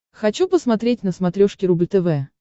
хочу посмотреть на смотрешке рубль тв